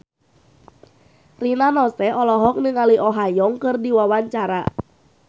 Rina Nose olohok ningali Oh Ha Young keur diwawancara